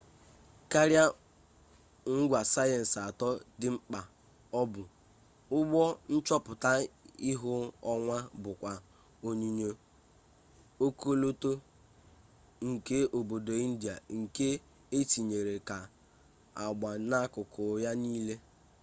karịa ngwa sayensị atọ dị mkpa o bu ụgbọ nchọpụta ihu ọnwa bukwa onyonyo ọkọlọtọ nke obodo india nke etere ka agba n'akụkụ ya nile